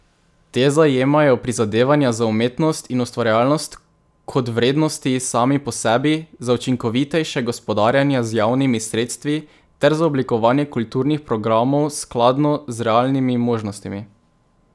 Te zajemajo prizadevanja za umetnost in ustvarjalnost kot vrednosti sami po sebi, za učinkovitejše gospodarjenje z javnimi sredstvi ter za oblikovanje kulturnih programov skladno z realnimi možnostmi.